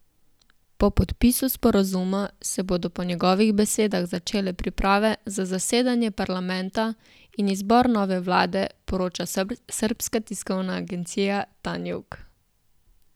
Po podpisu sporazuma se bodo po njegovih besedah začele priprave za zasedanje parlamenta in izbor nove vlade, poroča srbska tiskovna agencija Tanjug.